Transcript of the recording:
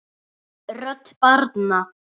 Rödd barna